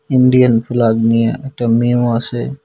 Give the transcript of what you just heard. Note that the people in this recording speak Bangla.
ইন্ডিয়ান ফ্ল্যাগ নিয়া একটা মেয়েও আছে।